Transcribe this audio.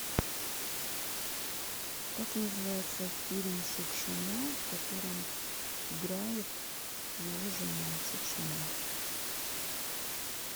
как называется фильм шукшина в котором играет его жена шукшина